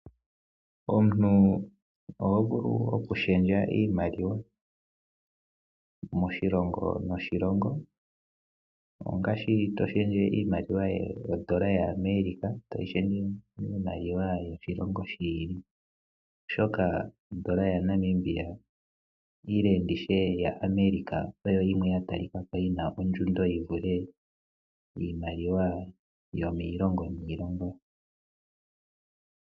Omuntu oho vulu oku shendja iimaliwa, moshilongo noshilongo, ongaashi to shendje ondola yAmerica toyi shendje miimaliwa yoshilongo shi ili. Oshoka ondola ya Namibia ile nditye yAmerica oyo yimwe ya ta li kako yina ondjundo yi vule iimaliwa yomiilongo niilongo.